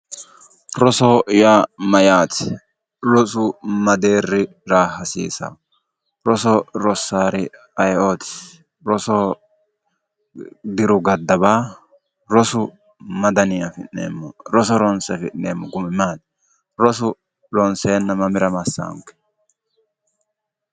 Rosoho yaa Mayyaate? Rosu ma deeri hasiisanno roso rosaari ayeooti ? Rosoho diru gaddawa rosu ma danii afi'neemo? Roso ronise afi'neemo gumi maati ? Rosu roniseenna mamira massaanike?